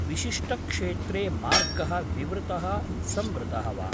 विशिष्टक्षेत्रे मार्गः विवृतः, संवृतः वा?